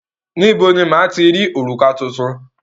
Níbo ni máa ti rí òrùka tuntun?